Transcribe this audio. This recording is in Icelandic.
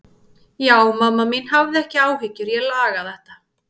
Já, mamma mín, hafðu ekki áhyggjur, ég laga þetta.